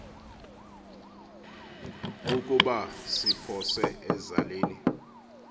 ukuba siphose ezaleni